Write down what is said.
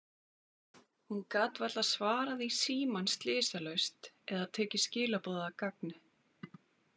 Hún gat varla svarað í símann slysalaust eða tekið skilaboð að gagni.